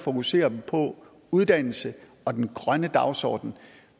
fokusere på uddannelse og den grønne dagsorden